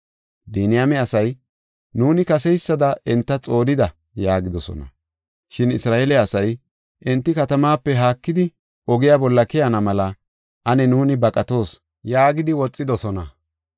Biniyaame asay, “Nuuni kaseysada enta xoonida!” yaagidosona. Shin Isra7eele asay, “Enti katamaape haakidi, ogiya bolla keyana mela ane nuuni baqatoos” yaagidi woxidosona.